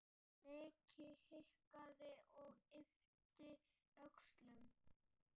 Nikki hikaði og yppti öxlum.